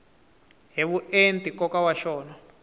hi vuenti nkoka wa xona